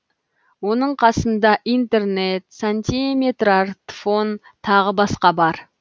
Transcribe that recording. оның қасында интернет сантиметрартфон тағы басқа бар